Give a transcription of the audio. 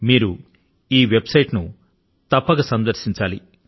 మీరు ఈ వెబ్సైట్ ను తప్పక సందర్శించాలి